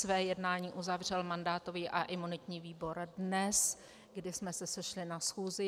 Své jednání uzavřel mandátový a imunitní výbor dnes, kdy jsme se sešli na schůzi.